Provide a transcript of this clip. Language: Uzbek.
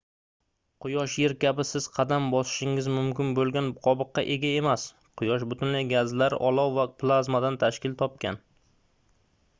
quyosh yer kabi siz qadam bosishingiz mumkin boʻlgan qobiqqa ega emas quyosh butunlay gazlar olov va plazmadan tashkil topgan